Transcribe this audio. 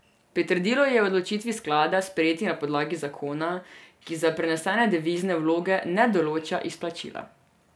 Pritrdilo je odločitvi sklada, sprejeti na podlagi zakona, ki za prenesene devizne vloge ne določa izplačila.